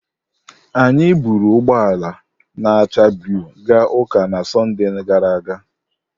Anyị buuru ụgbọ ala na-acha blu gaa ụka na Sọnde gara aga.